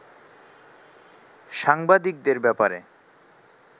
সাংবাদিকদের ব্যাপারে